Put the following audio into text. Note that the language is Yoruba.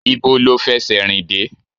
Ibo lo fẹsẹ rìn dé?